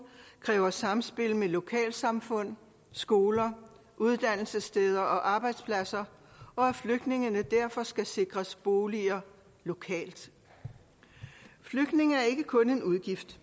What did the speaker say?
kræver samspil med lokalsamfund skoler uddannelsessteder og arbejdspladser og at flygtninge derfor skal sikres boliger lokalt flygtninge er ikke kun en udgift